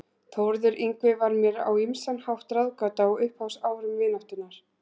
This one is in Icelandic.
Þórður Yngvi var mér á ýmsan hátt ráðgáta á upphafsárum vináttunnar.